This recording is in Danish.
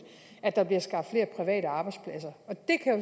at der bliver skabt flere private arbejdspladser og